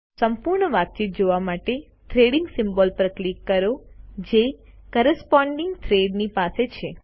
સંપૂર્ણ વાતચીત જોવા માટે થ્રેડિંગ સિમ્બોલ પર ક્લિક કરો જે કોરસ્પોન્ડિંગ થ્રેડ ની પાસે છે